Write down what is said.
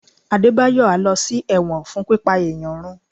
Adebayo a ló sí ẹwọ́n fún pipá eyán rùn